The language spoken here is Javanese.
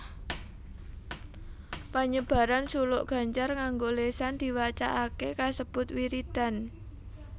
Panyebaran suluk gancar nganggo lésan diwacakaké kasebut wiridan